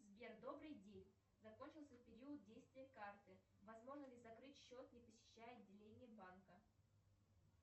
сбер добрый день закончился период действия карты возможно ли закрыть счет не посещая отделение банка